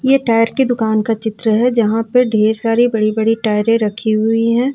ये टायर की दुकान का चित्र है जहां पर ढेर सारी बड़ी बड़ी टायरे रखी हुई है।